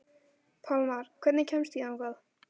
Pálmar, hvernig kemst ég þangað?